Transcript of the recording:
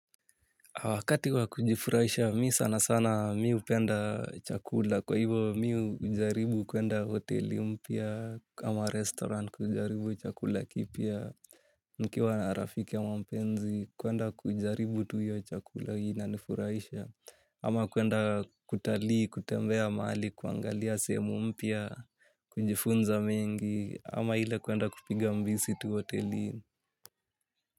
Wakati wa kujifurahisha mimi sana sana mimi hupenda chakula kwa hivo mimi hujaribu kwenda hoteli mpya kama restaurant kujaribu chakula kipya. Nikiwa na rafiki ama mpenzi kwenda kujaribu tu hiyo chakula inanifurahisha ama kwenda kutalii kutembea mahali kuangalia sehemu mpya kujifunza mengi ama ile kwenda kupiga mbizi tu hotelini.